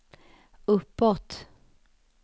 uppåt